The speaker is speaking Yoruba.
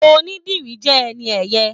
Onídìrí jẹ ẹni ẹyẹ.